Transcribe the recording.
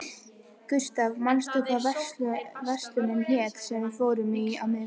Gustav, manstu hvað verslunin hét sem við fórum í á miðvikudaginn?